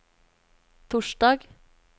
torsdag